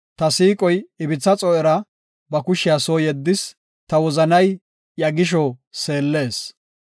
Ta siiqoy ibitha xoo7era ba kushiya soo yeddis; ta wozanay iya gisho seellees.